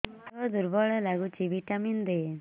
ଦିହ ଦୁର୍ବଳ ଲାଗୁଛି ଭିଟାମିନ ଦେ